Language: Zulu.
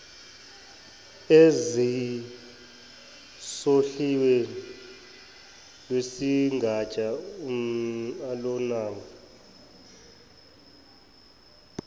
ezisohlwini lwesigatshana alunabo